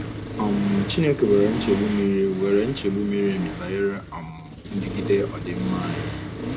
um Chineke nwere nchegbu miri nwere nchegbu miri emi banyere um ndigide ọdịmma anyị.